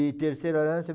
E terceira aliança